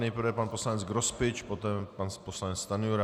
Nejprve pan poslanec Grospič, poté pan poslanec Stanjura.